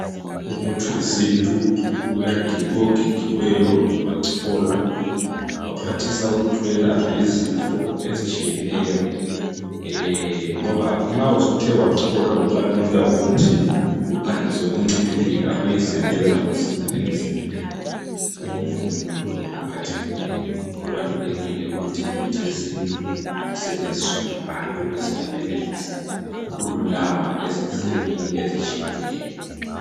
Umuthi wesintu ogigiweyo wacholwa, waphathisa ukuthi welaphe izifo ezitshiyeneyo ngoba nxa usuthe wacholwa kubalula ukuthi uphangise ukuncibilika uyesebenza masinya emzimbeni womuntu lo ophathekileyo. Kubalulekile ukuthi imithi yesintu isetshenziswe ngabantu ukuze bayenelise ukululama ezinhlungwini ezitshiyeneyo.